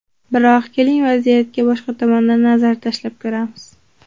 Biroq, keling, vaziyatga boshqa tomondan nazar tashlab ko‘ramiz.